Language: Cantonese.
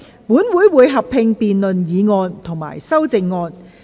本會會合併辯論議案及修正案。